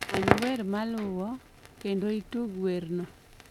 many wer maluwo, kendo itug werno